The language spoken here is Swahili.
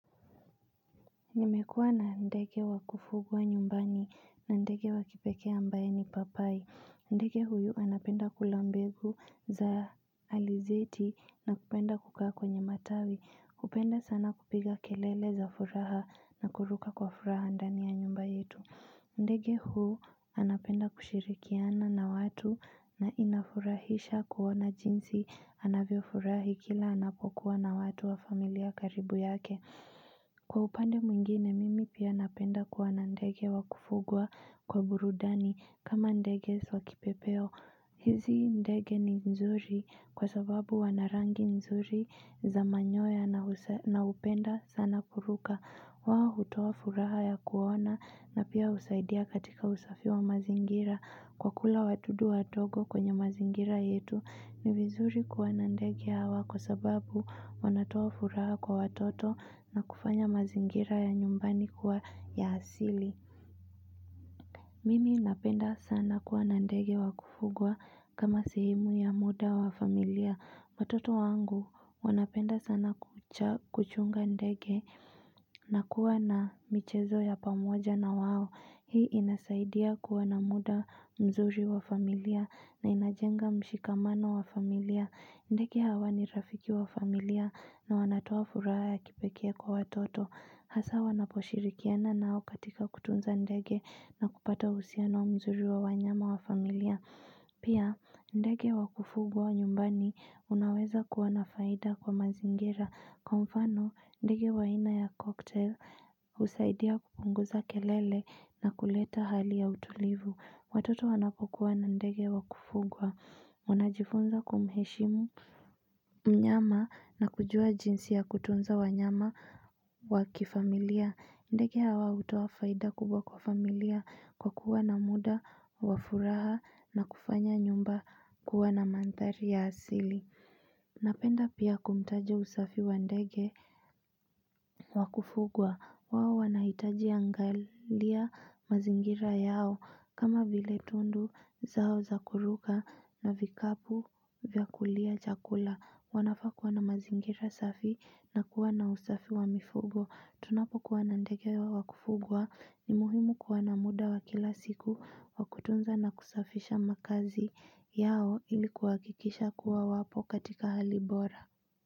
Nimekuwa na ndege wa kufugwa nyumbani na ndege wa kipekea ambae ni papai ndege huyu anapenda kula mbegu za alizeti na kupenda kukaa kwenye matawi kupenda sana kupiga kelele za furaha na kuruka kwa furaha ndani ya nyumba yetu ndege huu anapenda kushirikiana na watu na inafurahisha kuwona jinsi anavyo furahi kila anapokuwa na watu wa familia karibu yake Kwa upande mwingine, mimi pia napenda kuwa na ndege wa kufugwa kwa burudani kama ndege wa kipepeo. Hizi ndege ni nzuri kwa sababu wanarangi nzuri za manyoya naupenda sana kuruka. Waho hutuo furaha ya kuona na pia usaidia katika usafi wa mazingira. Kwa kula watudu watogo kwenye mazingira yetu ni vizuri kuwa na ndege hawa kwa sababu wanatoa furaha kwa watoto na kufanya mazingira ya nyumbani kuwa ya asili. Mimi napenda sana kuwa na ndege wakufugwa kama sehemu ya muda wa familia. Matoto wangu wanapenda sana kuchunga ndege na kuwa na michezo ya pamoja na wao. Hii inasaidia kuwa na muda mzuri wa familia na inajenga mshikamano wa familia. Ndege hawa ni rafiki wa familia na wanatoa furaha ya kipeke kwa watoto. Hasa wanaposhirikiana nao katika kutunza ndege na kupata usiano mzuri wa wanyama wa familia. Pia, ndege wakufugwa nyumbani unaweza kuwanafaida kwa mazingira. Kwa mfano, ndege waina ya kokte usaidia kupunguza kelele na kuleta hali ya utulivu. Watoto wanapokuwa na ndege wakufugwa. Unajifunza kumheshimu mnyama na kujua jinsi ya kutunza wanyama wakifamilia ndege hawa utoa faida kubwa kwa familia kwa kuwa na muda, wafuraha na kufanya nyumba kuwa na mantari ya asili Napenda pia kumtaja usafi wa ndege wakufugwa wao wanahitaji angalia mazingira yao kama vile tundu zao zakuruka na vikapu vyakulia chakula Wanafakuwa na mazingira safi na kuwa na usafi wa mifugo Tunapo kuwanandegia hawa kufugwa ni muhimu kuwana muda wa kila siku wakutunza na kusafisha makazi yao ilikuwa kikisha kuwa wapo katika halibora.